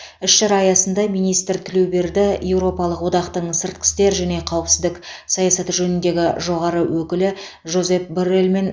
іс шара аясында министр тілеуберді еуропалық одақтың сыртқы істер және қауіпсіздік саясаты жөніндегі жоғары өкілі жозеп борреллмен